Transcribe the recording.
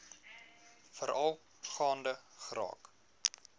veral gaande geraak